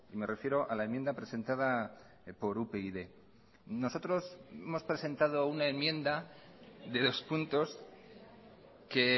me refiero a la enmienda presentada por upyd nosotros hemos presentado una enmienda de dos puntos que